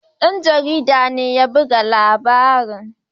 Ɗan jarida ne ya buga labarin.